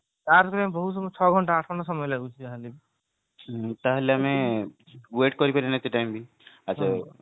charge କରିବା ପାଇଁ ବହୁତ ମାନେ ଛଅ ଘଣ୍ଟା ଆଠ ଘଣ୍ଟା ସମୟ ଲାଗୁଛି ଯାହା ହେଲେ ବି